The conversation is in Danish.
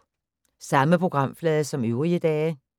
Samme programflade som øvrige dage